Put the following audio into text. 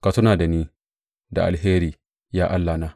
Ka tuna da ni da alheri, ya Allahna.